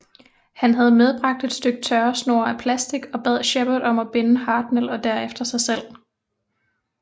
Han havde medbragt et stykke tørresnor af plastik og bad Shepard om at binde Hartnell og derefter sig selv